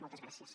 moltes gràcies